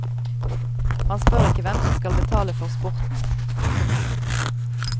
Han spør ikke hvem som skal betale for sporten. punktum